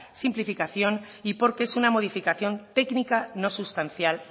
simplificación y porque es una modificación técnica no sustancial